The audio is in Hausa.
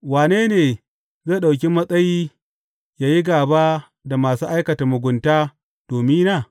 Wane ne zai ɗauki matsayi ya yi gāba da masu aikata mugunta domina?